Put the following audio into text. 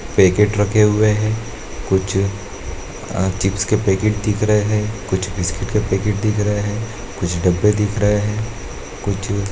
packet रखे हुये है कुछ अ चिप्स के पैकेट दिख रहे है कुछ बिस्कुट के पैकेट दिख रहे है कुछ डब्बे दिख रहे है कुछ --